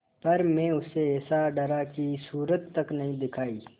पर मैं उससे ऐसा डरा कि सूरत तक न दिखायी